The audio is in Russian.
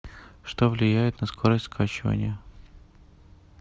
что влияет на скорость скачивания